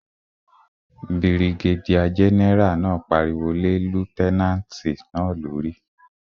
Birigédíà gẹ́nẹ́rà náà pariwo lé lútẹ́nàtì náà lórí